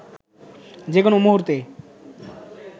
যে কোনো মুহূর্তে